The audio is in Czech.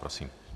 Prosím.